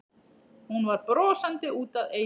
Hún var brosandi út að eyrum.